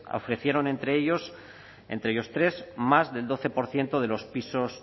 ofrecieron entre ellos tres más del doce por ciento de los pisos